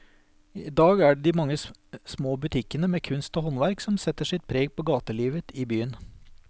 I dag er det de mange små butikkene med kunst og håndverk som setter sitt preg på gatelivet i byen.